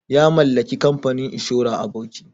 Ya mallaki kamfanin inshora a Bauchi.